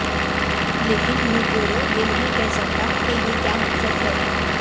لیکن ایوترورو یہ نہیں کہہ سکتا کہ یہ کیا مقصد ہے